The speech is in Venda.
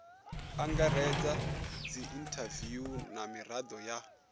angaredza dziinthaviwu na mirado ya